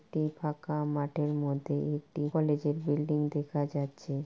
একটি ফাঁকা মাঠের মধ্যে একটি কলেজ এর বিল্ডিং দেখা যাচ্ছে।